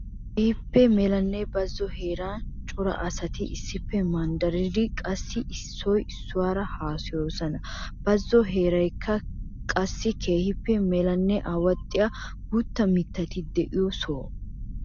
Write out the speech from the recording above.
Keehippe melanne bazzo heeran cora asati issippe manddaridde qassikka issoy issuwaara haasayoosona. Bazzo heeraykka qassikka keehippe melanne awaxxiya guutta mittati de'iyo soho.